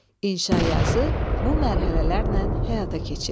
İnşa yazı bu mərhələlərlə həyata keçirilir.